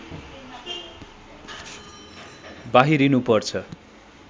बाहिरिनु पर्छ